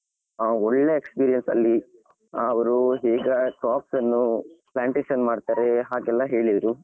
ಹಾ ಒಳ್ಳೆ experience ಅಲ್ಲಿ ಅವರು ಈಗcrops ಅನ್ನು plantation ಮಾಡ್ತಾರೆ ಹಾಗೆಲ್ಲಾ ಹೇಳಿದ್ರು.